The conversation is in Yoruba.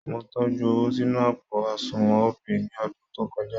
Mo tọ́jú owó sínú àpò àṣùnwọ̀n Opay ní ọ̀dún tó kọjá